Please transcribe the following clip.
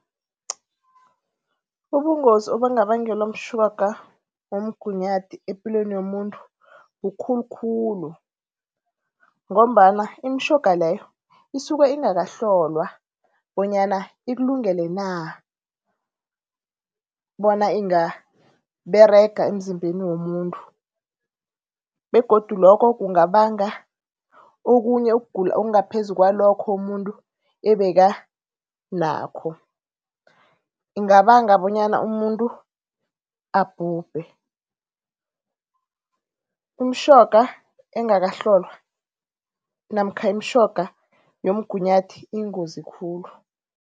Ubungozi obungabangelwa mtjhoga womgunyathi epilweni yomuntu bukhulu khulu ngombana imitjhoga leyo isuke ingakahlolwa bonyana ikulungele na bona ingaberega emzimbeni womuntu. Begodu loko kungabanga okhunye ukugula ongaphezu kwalokho umuntu ebekanakho, ingabanga bonyana umuntu abhubhe. Umtjhoga engakahlolwa namkha imitjhoga yomgunyathi iyingozi khulu.